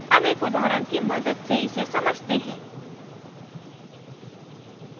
अब एक उदाहरण की मदद से इसे समझते हैं